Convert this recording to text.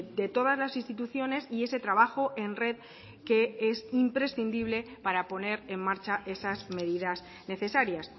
de todas las instituciones y ese trabajo en red que es imprescindible para poner en marcha esas medidas necesarias